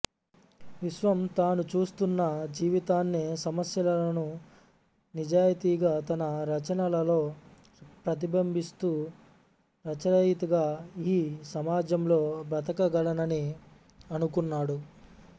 విశ్వం తాను చూస్తున్న జీవితాన్ని సమస్యలను నిజాయితీగా తన రచనలలో ప్రతిబింబిస్తూ రచయితగా ఈ సమాజంలో బ్రతకగలనని అనుకున్నాడు